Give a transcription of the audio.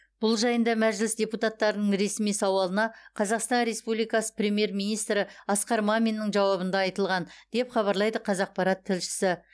бұл жайында мәжіліс депутаттарының ресми сауалына қазақстан республикасы премьер министрі асқар маминнің жауабында айтылған деп хабарлайды қазақпарат тілшісі